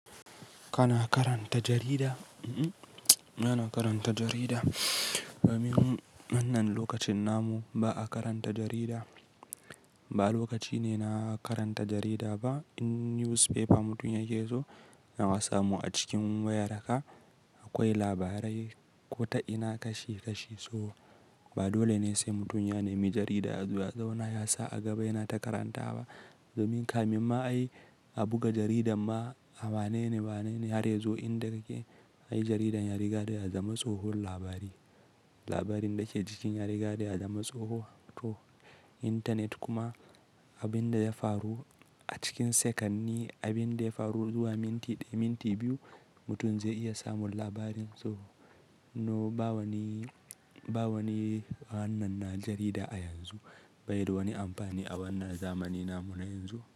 Kana karanta jarida? M-m, bana karanta jarida. Domin wannan lokacin namu ba a karanta jarida. Ba lokaci ne na karanta jarida ba. Ko newspaper mutum ya keso, yana samu a cikin wayaraka akwai labarai ko ta ina kashi kashi, so ba dole ne sai mutum ya nemi jarida, ya zauna, ya sa a gaba yana ta karantawa ba. Domin kamin ma ai a buga jaridan ma ai wanene, wanene har ya zo inda kake, ayi jaridan ya riga dai ya zama tsohon labari. Labarin da ke cikin ya riga da ya zama tsoho toh. Internet kuma abin da ya faru a cikin sakanni, abin da ya faru zuwa minti ɗaya, minti biyu mutum zai iya samun labarin, so. No, ba wani, ba wani wannan na jarida a yanzu. Bai da wani amfani a wannan zamanin namu na yanzu.